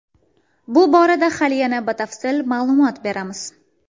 Bu borada hali yana batafsil ma’lumot beramiz.